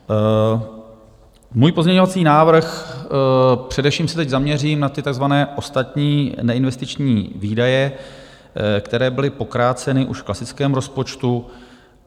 Můj pozměňovací návrh - především se teď zaměřím na ty takzvané ostatní neinvestiční výdaje, které byly pokráceny už v klasickém rozpočtu.